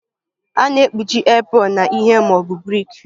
A na-ekpuchi apron na ihe ma ọ bụ brik